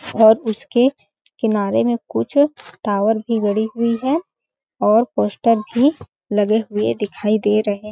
और उसके किनारे में कुछ टावर भी गड़ी हुई है और पोस्टर भी लगे हुए दिखाई दे रहे हैं।